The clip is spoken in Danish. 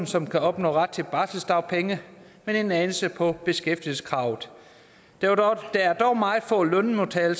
som kan opnå ret til barselsdagpenge men en anelse på beskæftigelseskravet der er dog meget få lønmodtagere